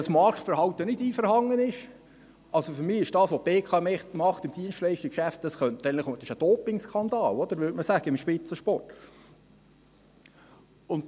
Für mich ist das, was die BKW im Dienstleistungsgeschäft macht – wie man im Spitzensport sagen würde –, ein Dopingskandal.